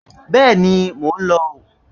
Bẹ́ẹ̀ni, mò ń lò ó